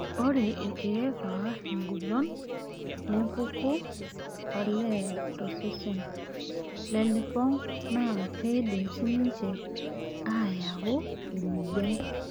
Ore ilkeek oor engolon empeku olee tosesen lelipong' naa keidim sii ninche aayau emoyian.